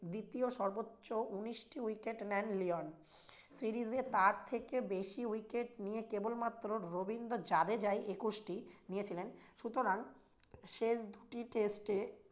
দ্বিতীয় সর্বোচ্চ উনিশ টি wicket নেন লিওন। series এ তার থেকে বেশি wicket নিয়ে কেবলমাত্র রবীন্দ্র জাদেজাই একুশটি নিয়েছিলেন। সুতরাং শেষ দুটি test এ